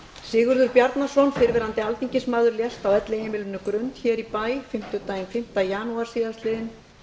sigurður bjarnason fyrrverandi alþingismaður lést á elliheimilinu grund hér í bæ fimmtudaginn fimmta janúar síðastliðinn